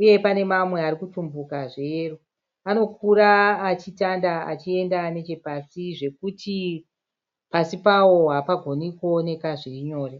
uye panemamwe arikutumbuka zveyero Anokura achitanda achienda nechepasi zvekuti pasi pawo hapagoni kuoneka zvirinyore.